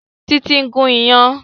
Títí ń gùn iyán